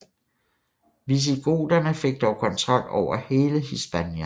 Visigoterne fik dog kontrol over hele Hispania